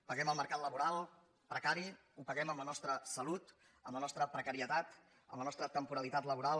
paguem el mercat laboral precari el paguem amb la nostra salut amb la nostra precarietat amb la nostra temporalitat laboral